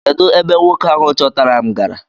Kedụ ebe nwoke ahụ chọtara m gara?